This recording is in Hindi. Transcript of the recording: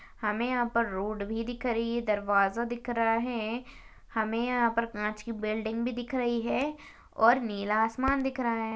हमें यहाँ पर रोड भी दिख रही है। दरवाजा दिख रहा है। हमें यहाँ पर काँच की बिल्डिंग भी दिख रही है और नीला आसमान दिख रहा है।